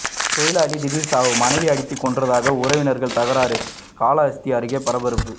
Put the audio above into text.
தொழிலாளி திடீர் சாவு மனைவி அடித்துக்கொன்றதாக உறவினர்கள் தகராறு காளஹஸ்தி அருகே பரபரப்பு